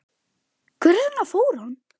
Hvers vegna fór hann?